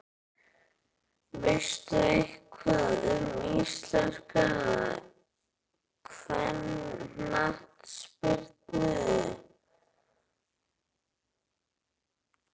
Veistu eitthvað um íslenska kvennaknattspyrnu?